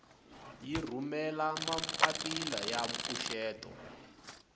yi rhumela mapapila ya mpfuxeto